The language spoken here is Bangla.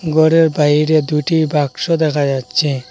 ঘরের বাইরে দুইটি বাক্স দেখা যাচ্ছে।